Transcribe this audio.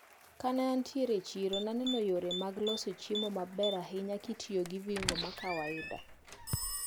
Kane antiere e chiro naneno yore mag loso chiemo maber ahinya kitiyo gi viungo ma kawaida.